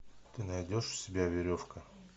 ты найдешь у себя веревка